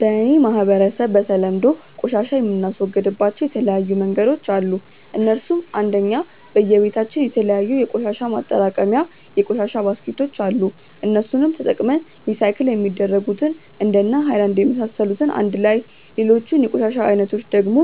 በ እኔ ማህበረሰብ በተለምዶ ቆሻሻ የምናስወግድባቸው የተለያዩ መንገዶች አሉ እነሱም :- 1. በየ በታችን የተለያዩ የቆሻሻ ማጠራቀሚታ የቆሻሻ ባስኬቶች አሉ እነሱንም ተጠቅመን ሪሳይክል የሚደረጉትን እንደነ ሃይላንድ የመሳሰሉትን አንድላይ ሌሎቹን የቆሻሻ አይነቶች ደግሞ